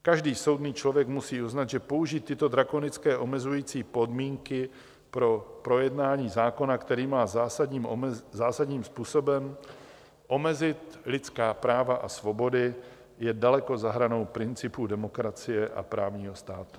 Každý soudný člověk musí uznat, že použít tyto drakonické omezující podmínky pro projednání zákona, který má zásadním způsobem omezit lidská práva a svobody, je daleko za hranou principů demokracie a právního státu.